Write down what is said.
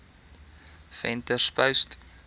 venterspost